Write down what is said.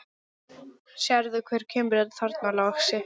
Sérðu hver kemur þarna, lagsi?